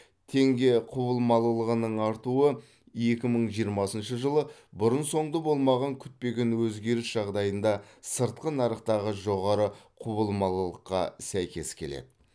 теңге құбылмалылығының артуы екі мың жиырмасыншы жылы бұрын соңды болмаған күтпеген өзгеріс жағдайында сыртқы нарықтағы жоғары құбылмалылыққа сәйкес келеді